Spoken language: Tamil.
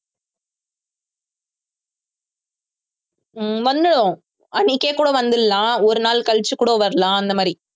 ஹம் வந்துரும் அன்னைக்கே கூட வந்திடலாம் ஒரு நாள் கழிச்சு கூட வரலாம் அந்த மாதிரி